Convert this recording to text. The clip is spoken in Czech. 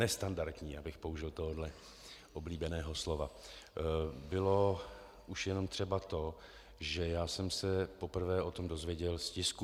Nestandardní, abych použil tohoto oblíbeného slova, bylo už jenom třeba to, že já jsem se poprvé o tom dozvěděl z tisku.